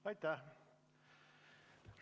Aitäh!